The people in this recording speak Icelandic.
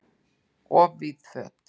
Of víð föt